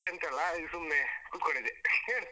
ಎಂತ ಇಲ್ಲ ಹೀಗೆ ಸುಮ್ನೆ ಕುತ್ಕೊಂಡಿದ್ದೆ ಹೇಳು.